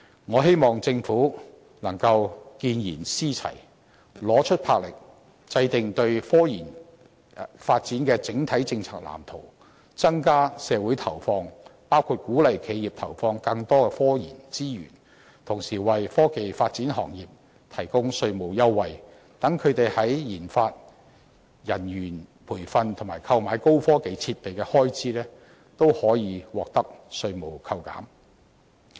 我希望政府見賢思齊，拿出魄力，制訂科研發展的整體政策藍圖，增加社會投放，包括鼓勵企業投放更多科研資源，同時為科技發展行業提供稅務優惠，讓他們在研發、人員培訓及購買高科技設備的開支，都可以獲得稅務扣減。